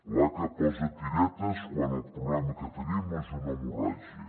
l’aca posa tiretes quan el problema que tenim és una hemorràgia